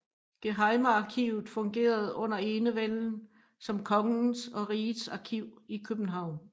Gehejmearkivet fungerede under enevælden som kongens og rigets arkiv i København